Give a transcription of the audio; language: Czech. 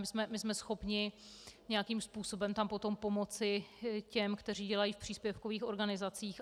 My jsme schopni nějakým způsobem tam potom pomoci těm, kteří dělají v příspěvkových organizacích.